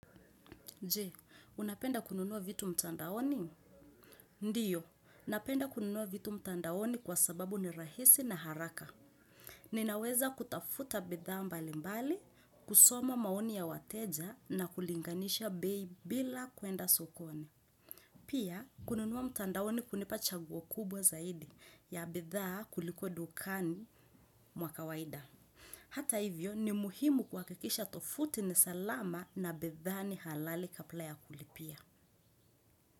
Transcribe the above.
Je unapenda kununua vitu mtandaoni. Ndiyo, napenda kununua vitu mtandaoni kwa sababu ni rahisi na haraka. Ninaweza kutafuta bidhaa mbali mbali, kusoma maoni ya wateja na kulinganisha bei bila kuenda sokoni. Pia, kununua mtandaoni hunipa chaguo kubwa zaidi ya bidhaa kuliko dukani mwak awaida. Hata hivyo, ni muhimu kuhakikisha tovuti ni salama na bidhaa ni halali kabla ya kulipia.